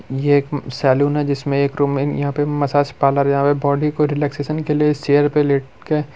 ये एक सैलून है जिसमें एक रूम में यहां पे मसाज पार्लर जहां पे बॉडी को रिलैक्सेशन के लिए इस चेयर पे लेट के--